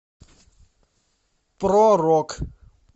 про рок